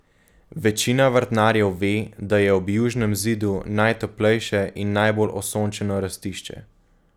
Večina vrtnarjev ve, da je ob južnem zidu najtoplejše in najbolj osončeno rastišče.